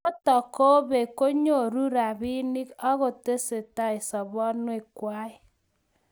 Chokto kobek konyoru robinik akotesetae sobonwek kwae